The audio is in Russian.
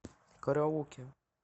караоке